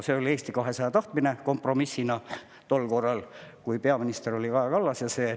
See oli Eesti 200 tahtmine kompromissina tol korral, kui peaminister oli Kaja Kallas.